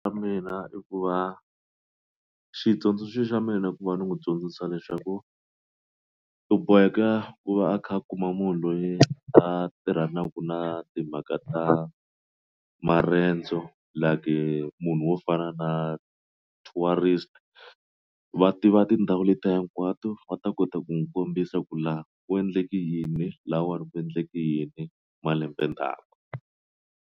Mina i ku va xitsundzuxo xa mina ku va ni n'wi dyondzisa leswaku u boheka ku va a kha a kuma munhu loyi a tirhanaka na timhaka ta maendzo like munhu wo fana na tourist va tiva tindhawu letiya hinkwato va ta kota ku n'wi kombisa ku la ku endleke yini lahawani ku endleke yini malembe ndhawu.